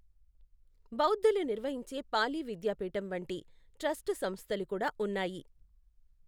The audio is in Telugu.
బౌద్ధులు నిర్వహించే పాలీ విద్యాపీఠం వంటి ట్రస్ట్ సంస్థలు కూడా ఉన్నాయి.